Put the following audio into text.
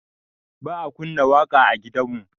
Ba a kunna waƙa a gidanmu